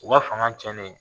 U ka fanga tiɲɛnen